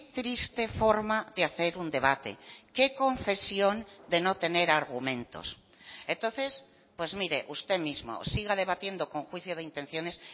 triste forma de hacer un debate qué confesión de no tener argumentos entonces pues mire usted mismo siga debatiendo con juicio de intenciones